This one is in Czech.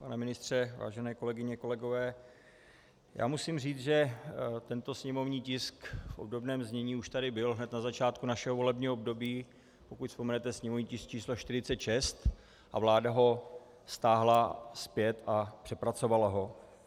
Pane ministře, vážené kolegyně, kolegové, já musím říct, že tento sněmovní tisk v obdobném znění už tady byl hned na začátku našeho volebního období, pokud vzpomenete sněmovní tisk č. 46, a vláda ho stáhla zpět a přepracovala ho.